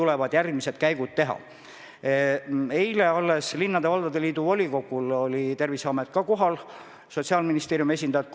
Regionaalminister, te palusite eelmise nädala esmaspäeval kõigil kohalikel omavalitsustel üle vaadata kriisiks valmistumise kavad.